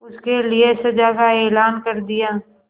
उसके लिए सजा का ऐलान कर दिया